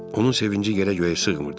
Onun sevinci yerə göyə sığmırdı.